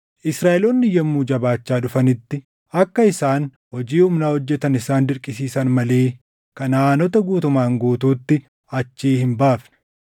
Israaʼeloonni yommuu jabaachaa dhufanitti akka isaan hojii humnaa hojjetan isaan dirqisiisan malee Kanaʼaanota guutumaan guutuutti achii hin baafne.